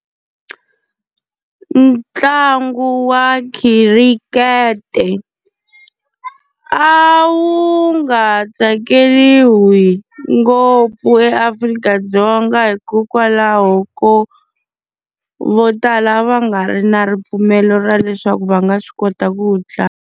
Ntlangu wa khirikhete a wu nga tsakeriwi ngopfu eAfrika-Dzonga hikokwalaho ko, vo tala va nga ri na ripfumelo ra leswaku va nga swi kota ku wu tlanga.